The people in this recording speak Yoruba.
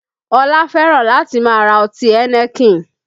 Ọlá fẹ́ràn láti máa ra ọtí Heineken